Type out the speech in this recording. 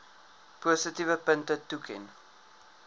positiewe punte toeken